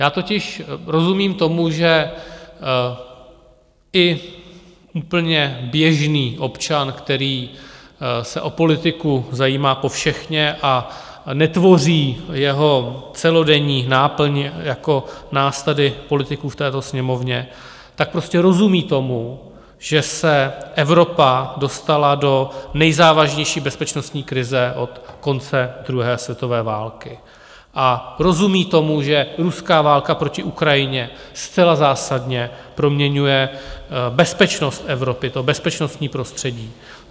Já totiž rozumím tomu, že i úplně běžný občan, který se o politiku zajímá povšechně a netvoří jeho celodenní náplň jako nás tady politiků v této Sněmovně, tak prostě rozumí tomu, že se Evropa dostala do nejzávažnější bezpečnostní krize od konce druhé světové války, a rozumí tomu, že ruská válka proti Ukrajině zcela zásadně proměňuje bezpečnost Evropy, to bezpečnostní prostředí.